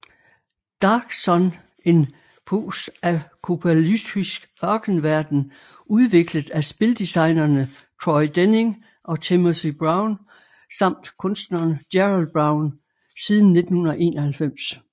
Dark Sun En postapokalyptisk ørkenverden udviklet af spildesignerne Troy Denning og Timothy Brown samt kunstneren Gerald Brom siden 1991